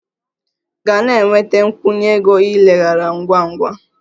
Gaa na-enweta a nkwụnye ego ileghara ngwa ngwa!